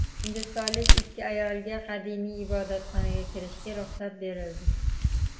Hindistonlik ikki ayolga qadimiy ibodatxonaga kirishga ruxsat berildi.